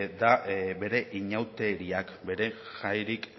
da bere inauteriak bere jairik